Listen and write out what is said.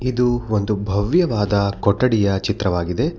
ಇದು ಒಂದು ಭವ್ಯವಾದ ಕೊಠಡಿಯ ಚಿತ್ರವಾಗಿದೆ.